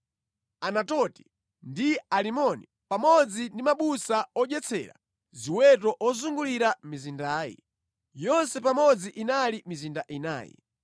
Anatoti ndi Alimoni, pamodzi ndi mabusa odyetsera ziweto ozungulira mizindayi. Yonse pamodzi inali mizinda inayi.